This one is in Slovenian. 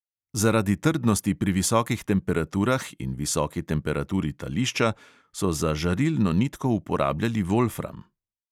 Zaradi trdnosti pri visokih temperaturah in visoki temperaturi tališča so za žarilno nitko uporabljali volfram.